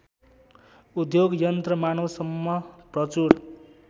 उद्योग यन्त्रमानवसम्म प्रचुर